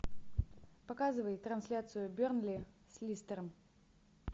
показывай трансляцию бернли с листером